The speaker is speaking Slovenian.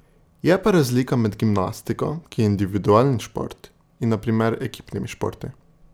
Je pa razlika med gimnastiko, ki je individualni šport, in na primer ekipnimi športi.